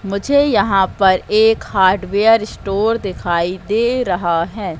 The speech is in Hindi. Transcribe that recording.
मुझे यहां पर एक हार्डवेयर स्टोर दिखाई दे रहा है।